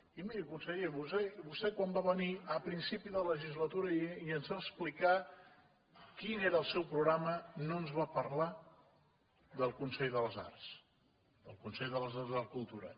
i miri conseller vostè quan va venir a principi de legislatura i ens va explicar quin era el seu programa no ens va parlar del consell de les arts del consell de les arts i la cultura